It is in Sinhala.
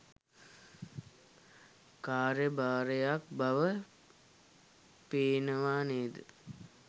කාර්යභාරයක් බව පේනවා නේද?